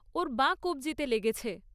ওর বাঁ কব্জিতে লেগেছে।